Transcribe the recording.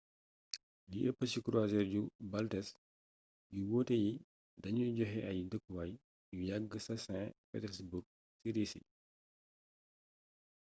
li ëpp ci croisiere yu baltes yu wuute yi dañuy joxe ay dëkkuwaay yu yagg ca st petersburg ci risi